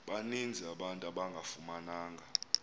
baninzi abantu abangafumananga